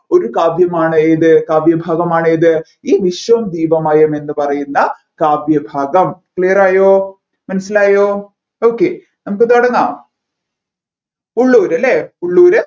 ഒരു കാവ്യമാണ് ഏതു കാവ്യഭാഗമാണ് ഏതു ഈ വിശ്വം ദീപമയം എന്ന് പറയുന്ന കാവ്യഭാഗം clear ആയോ മനസ്സിലായോ okay നമ്മുക്ക് തുടങ്ങാം ഉള്ളൂർ അല്ലെ ഉള്ളൂർ